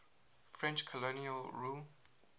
french colonial rule